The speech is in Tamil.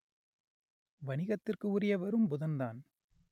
வணிகத்திற்கு உரியவரும் புதன்தான்